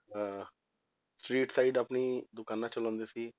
ਅਹ street side ਆਪਣੀ ਦੁਕਾਨਾਂ ਚਲਾਉਂਦੇ ਸੀ